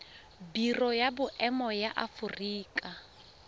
biro ya boemo ya aforika